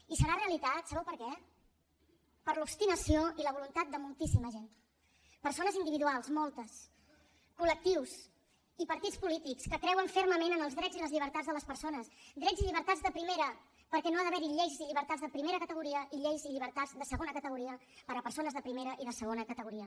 i serà realitat sabeu per què per l’obstinació i la voluntat de moltíssima gent persones individuals moltes colfermament en els drets i les llibertats de les persones drets i llibertats de primera perquè no ha d’haver hi lleis i llibertats de primera categoria i lleis i llibertats de segona categoria per a persones de primera i de segona categoria